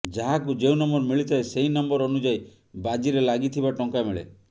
ଯାହାକୁ ଯେଉଁ ନମ୍ବର ମିଳିଥାଏ ସେହି ନମ୍ବର ଅନୁଯାୟୀ ବାଜିରେ ଲାଗିଥିବା ଟଙ୍କା ମିଳେ